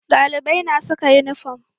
Dalibai na saka inifam